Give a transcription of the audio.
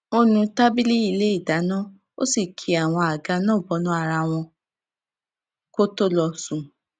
ó nu tábìlì ilé ìdáná ó sì ki àwọn àga náà bọnú ara wọn kó tó lọ sùn